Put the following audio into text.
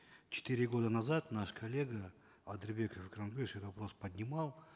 четыре года назад наш коллега атырбеков вопрос поднимал